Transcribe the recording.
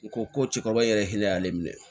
U ko ko cikɔrɔba yɛrɛ hinɛ y'ale minɛ